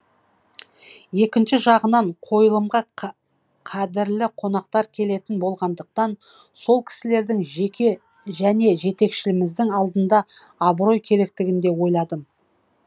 екінші жағынан қойылымға қадірлі қонақтар келетін болғандықтан сол кісілердің жеке және жетекшіміздің алдында абырой керектігін де ойладым